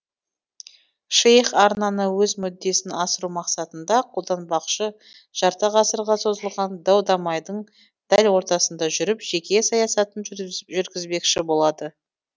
шейх арнаны өз мүддесін асыру мақсатында қолданбақшы жарты ғасырға созылған дау дамайдың дәл ортасында жүріп жеке саясатын жүргізбекші болады